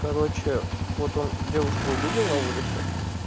короче вот он девушку увидел на улице